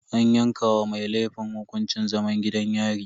An yanke wa mai laifin hukuncin zaman gidan yari.